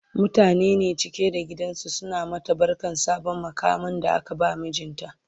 mutane ne cike da gidan suna mata barkan sabon muƙamin da aka ba mijinta